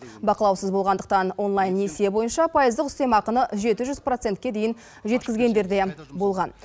бақылаусыз болғандықтан онлайн несие бойынша пайыздық үстемақыны жеті жүз процентке дейін жеткізгендер де болған